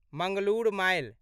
Mangalore mile